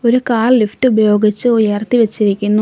ഒരു car lift ഉപയോഗിച്ച് ഉയർത്തി വെച്ചിരിക്കുന്നു.